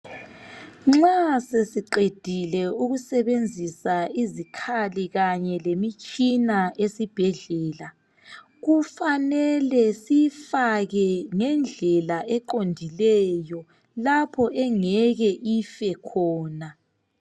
Nxa sesiqefile ukusebenzisa izikhali kanye lemitshina esibhedlela kufanele siyifake ngendlela eqondileyo lapho engeke ife khona.